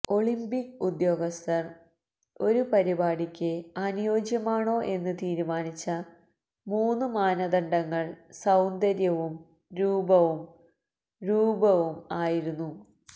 Olympic ഉദ്യോഗസ്ഥർ ഒരു പരിപാടിക്ക് അനുയോജ്യമാണോ എന്ന് തീരുമാനിച്ച മൂന്ന് മാനദണ്ഡങ്ങൾ സൌന്ദര്യവും രൂപവും രൂപവും ആയിരുന്നു